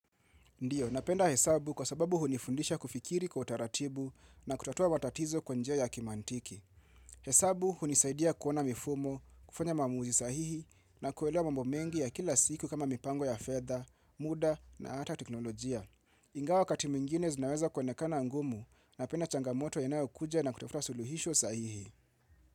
Ndiyo, napenda hesabu kwa sababu hunifundisha kufikiri kwa utaratibu na kutatua matatizo kwa njia ya kimantiki. Hesabu hunisaidia kuona mifumo, kufanya mamuuzi sahihi na kuelewa mambo mengi ya kila siku kama mipango ya fedha, muda na ata teknolojia. Ingawa wakati mwingine zinaweza kuonekana ngumu napenda changamoto inayo kuja na kutafuta suluhisho sahihi.